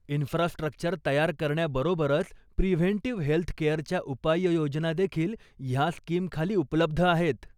Infrastructure तयार करण्याबरोबरच, preventive हेल्थकेअरच्या उपाययोजना देखील ह्या स्कीमखाली उपलब्ध आहेत.